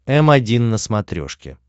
м один на смотрешке